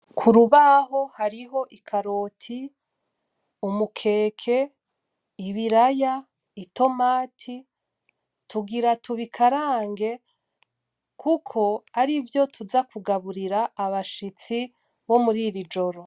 Ku rubaho hariho ikaroti, umukeke, ibiraya, itomati, tugira tubikarange kuko arivyo tuza kugaburira abashitsi bo muriri joro.